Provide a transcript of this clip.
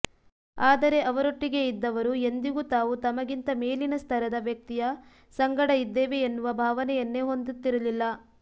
ಆದರೆ ಅವರೊಟ್ಟಿಗೆ ಇದ್ದವರು ಎಂದಿಗೂ ತಾವು ತಮಗಿಂತ ಮೇಲಿನ ಸ್ಥರದ ವ್ಯಕ್ತಿಯ ಸಂಗಡ ಇದ್ದೇವೆ ಎನ್ನುವ ಭಾವನೆಯನ್ನೇ ಹೊಂದುತ್ತಿರಲಿಲ್ಲ